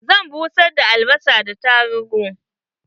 Zan soya albasa da tarugu.